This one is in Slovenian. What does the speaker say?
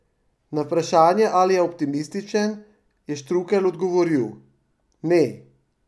Na vprašanje, ali je optimističen, je Štrukelj odgovoril: "Ne.